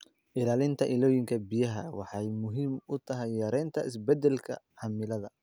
Ilaalinta ilooyinka biyaha waxay muhiim u tahay yareynta isbeddelka cimilada.